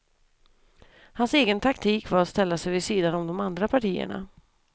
Hans egen taktik var att ställa sig vid sidan om de andra partierna.